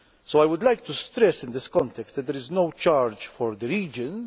I would like to stress in this context that there is no charge for the regions.